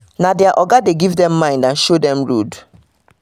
na their oga dey give dem mind and show dem road